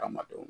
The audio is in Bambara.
Hadamadenw